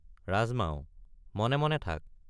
ৰাজমাও— মনে মনে থাক।